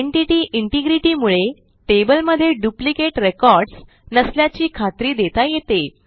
entity integrity मुळे टेबलमधे duplicate records नसल्याची खात्री देता येते